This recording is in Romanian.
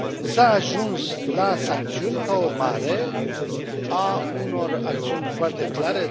S a ajuns la sancțiuni ca urmare a unor acțiuni foarte clare.